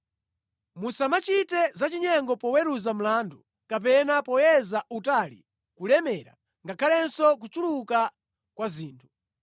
“ ‘Musamachite za chinyengo poweruza mlandu, kapena poyeza utali, kulemera ngakhalenso kuchuluka kwa zinthu.